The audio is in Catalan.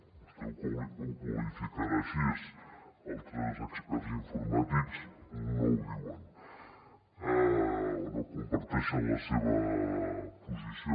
vostè ho deu qualificar així altres experts informàtics no ho diuen o no comparteixen la seva posició